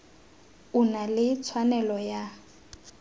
o na le tshwanelo ya